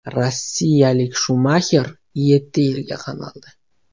Rossiyalik Shumaxer yetti yilga qamaldi.